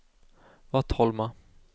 Vattholma